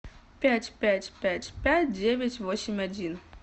пять пять пять пять девять восемь один